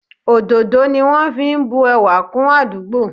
Òdòdó ni wọn fi ń bu ẹwà kún àdúgbò